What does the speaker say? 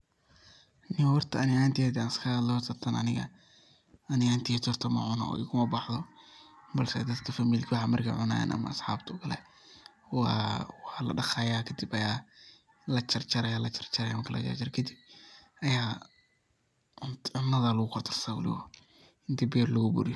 Niyow horta ani ahanteyda hadan iska hadlo horta tan ani ani ahanteyda horta macuno igumabaxdo balse dadka familiga waxan markay cunayan ama asxabta okale wa ladaqaya kadib aya lajarjaray lajarjaraya marki lajarjara kadiib aya cunuda lugu kordarsanaya wliwa intu biyo lugu buriyu..